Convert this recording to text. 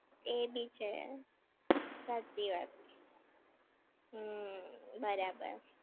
એ બી છે. સાચી વાત. હમ્મ. બરાબર.